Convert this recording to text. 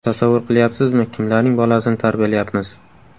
Tasavvur qilyapsizmi, kimlarning bolasini tarbiyalayapmiz?